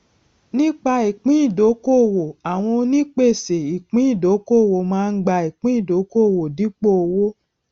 nípa ìpín ìdókòwò àwọn onípèsè ìpín ìdókòwò máa ń gba ìpín ìdókòwò dípò owó